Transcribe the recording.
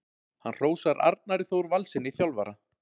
Hann hrósar Arnari Þór Valssyni þjálfara.